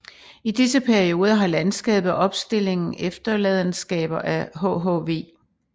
I disse perioder har landskabet og opstillingen efterladenskaber af hhv